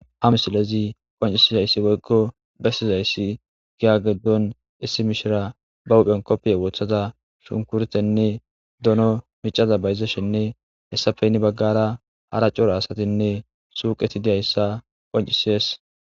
ha misilezi qoncisizayssi woykko bessizayssi giya giddon issi mishira ba huphen koppiye woothada shunkurtenne dono miccaza bayzashenne hessafe hini baggara hara cora asatinne suuqeti diyayssa qonccisees.